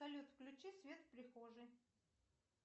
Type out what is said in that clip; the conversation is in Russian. салют включи свет в прихожей